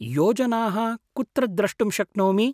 योजनाः कुत्र द्रष्टुं शक्नोमि?